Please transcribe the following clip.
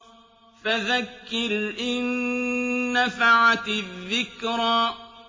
فَذَكِّرْ إِن نَّفَعَتِ الذِّكْرَىٰ